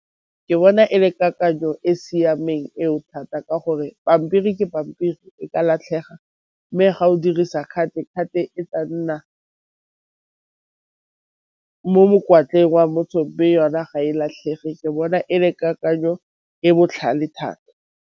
Ke bona e le kakanyo e siameng eo thata ka gore pampiri ke pampiri e ka latlhega, mme ga o dirisa card, card e tla nna mo mokwatleng wa motho me yona ga e latlhege ke bona e le kakanyo e botlhale thata.